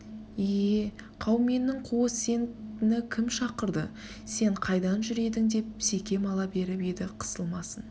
е-е қауменнің куы сені кім шақырды сен қайдан жүр едің деп секем ала беріп еді қысылмасын